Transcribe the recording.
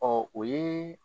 o ye